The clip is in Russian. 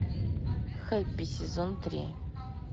хэппи сезон три